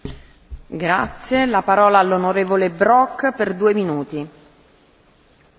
Frau Präsidentin, Frau Vizepräsidentin der Kommission, Kolleginnen und Kollegen!